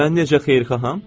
Mən necə xeyirxaham?